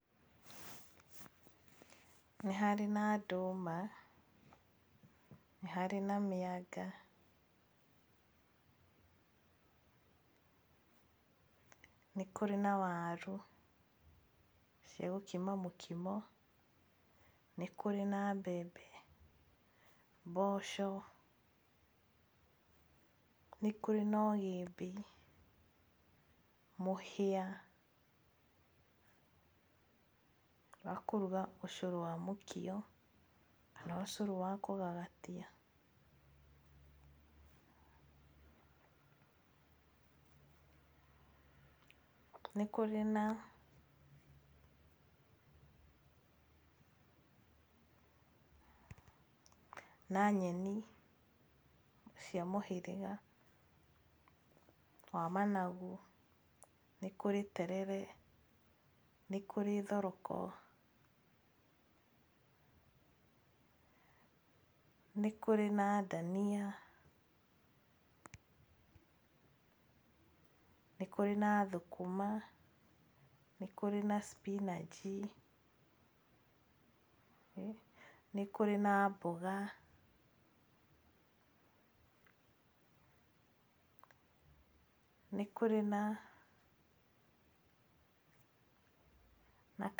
Nĩ harĩ na ndũma, nĩ harĩ na mĩanga, nĩ kũrĩ na warũ cia gũkima mũkimo, nĩ kũrĩ na mbembe, mboco, nĩ kũrĩ na ũgĩmbi, mũhĩa wa kũruga ũcũrũ wa mũkio kana ũcũru wa kũgagatia. Nĩ kũrĩ na nyeni cia mũhĩrĩga wa managu, nĩkũrĩ terere, nĩkũrĩ thoroko, nĩ kũrĩ na dania, nĩ kũrĩ na thũkũma, nĩ kũrĩ na spinach, nĩ kũrĩ na mboga, nĩ kũrĩ na...